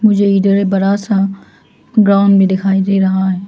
ये इधर में बड़ा सा ग्राउंड भी दिखाई दे रहा है।